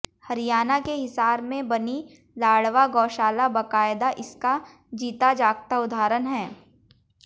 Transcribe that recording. हरियाणा के हिसार में बनी लाडवा गौशाला बकायदा इसका जीता जागता उदहारण है